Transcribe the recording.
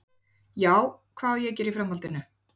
Já, hvað á að gera í framhaldinu?